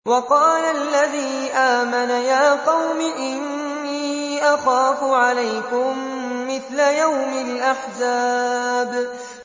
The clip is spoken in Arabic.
وَقَالَ الَّذِي آمَنَ يَا قَوْمِ إِنِّي أَخَافُ عَلَيْكُم مِّثْلَ يَوْمِ الْأَحْزَابِ